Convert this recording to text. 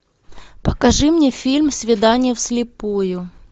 покажи мне фильм свидание вслепую